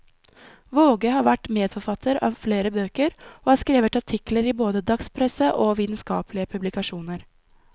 Vaage har vært medforfatter av flere bøker, og har skrevet artikler i både dagspresse og vitenskapelige publikasjoner.